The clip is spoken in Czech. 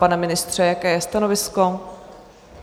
Pane ministře, jaké je stanovisko?